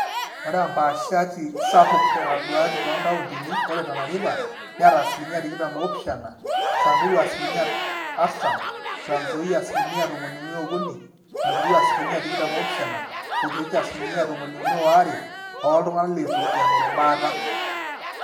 ore empaashati sapuk netaduaaki toonkauntini ore tana river neeta asilimia tikitam oopishana, samburu asilimia artam, tranzoia asilimia tomoniuni ookuni, nakuru asilia tikitam oopishana, o kericho asilimia tomoniuni oare ooltung'anak leitu eing'oru baata